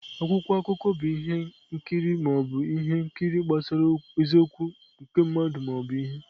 Akwụkwọ akụkọ bụ ihe nkiri ma ọ bụ ihe nkiri gbasara eziokwu nke mmadụ ma ọ bụ ihe.